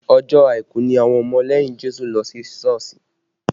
Ọjọ́ àìkú ni àwọn ọmọ lẹ́yìn Jésù ń lọ sí Sọ́ọ̀sì